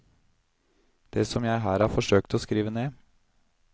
Det som jeg her har forsøkt å skrive ned.